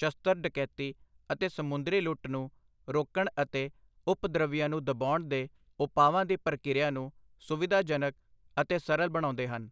ਸਸ਼ਤਰ ਡਕੈਤੀ ਅਤੇ ਸਮੁੰਦਰੀ ਲੁੱਟ ਨੂੰ ਰੋਕਣ ਅਤੇ ਉਪਦਰਵੀਆਂ ਨੂੰ ਦਬਾਉਣ ਦੇ ਉਪਾਵਾਂ ਦੀ ਪ੍ਰਕਿਰਿਆ ਨੂੰ ਸੁਵਿਧਾਜਨਕ ਅਤੇ ਸਰਲ ਬਣਾਉਂਦੇ ਹਨ।